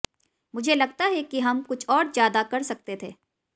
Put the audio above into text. मुझे लगता है कि हम कुछ और ज्यादा कर सकते थे